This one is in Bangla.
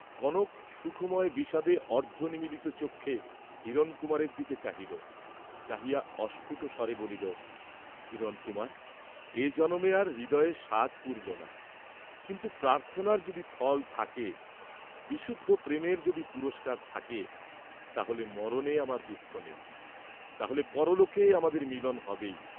কনক সুখময় বিষাদে অর্ধনিমীলিত চক্ষে হিরণকুমারের দিকে চাহিল, চাহিয়া অস্ফুট স্বরে বলিল, "হিরণকুমার, এ জনমে আর হৃদয়ের সাধ পূরল না, কিন্তু প্রার্থনার যদি ফল থাকে, বিশুদ্ধ প্রেমের যদি পুরস্কার থাকে, তা হলে মরণে আমার দুঃখ নেই, তা হলে পরলোকে আমাদের মিলন হবেই।"